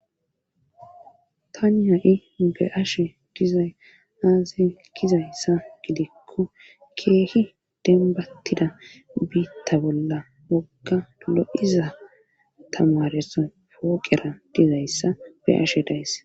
tani ha7i be ashe gizay aazay gizayssa gidikko keehi denbattida biitta bolla wogga lo7iza tamareso hooqera dizayssa be ashe dayss